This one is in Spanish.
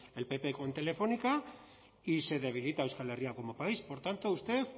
el pp con telefónica y se debilita euskal herria como país por tanto a usted